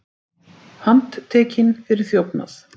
Handtekinn fyrir þjófnað